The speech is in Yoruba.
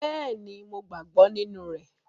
Bẹ́ẹ̀ni, Mo gbàgbọ́ nínú rẹ̀